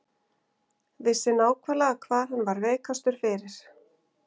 Vissi nákvæmlega hvar hann var veikastur fyrir.